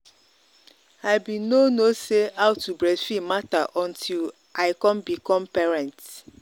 i been no no say how to breastfeed matter until i come become parent.